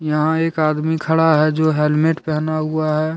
यहां एक आदमी खड़ा है जो हेलमेट पहना हुआ है।